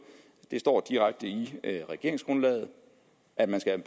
det står direkte i regeringsgrundlaget at man skal